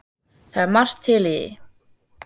Það er margt til í því.